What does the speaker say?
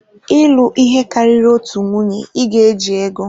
Ịlụ ihe karịrị otu nwunye, ị ga-eji ego.